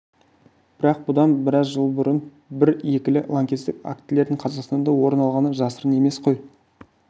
бірақ бұдан біраз жыл бұрын бірлі-екілі лаңкестік актілердің қазақстанда орын алғаны жасырын емес қой